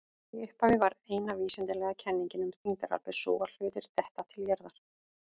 Í upphafi var eina vísindalega kenningin um þyngdaraflið sú að hlutir detta til jarðar.